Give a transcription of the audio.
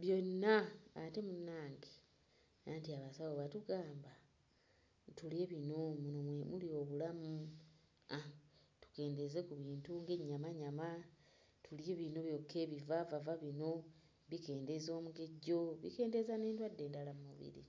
byonna, ate munnange anti abasawo batugamba tulye bino muno mwe muli obulamu, obulamu tukendeeze ku bintu ng'ennyamanyama, nti ebivaavava bino bikendeeza omugejjo, bikendeeza n'endwadde endala nnyingi.